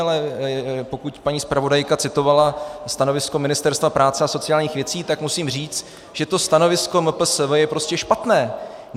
Ale pokud paní zpravodajka citovala stanovisko Ministerstva práce a sociálních věcí, tak musím říct, že to stanovisko MPSV je prostě špatné!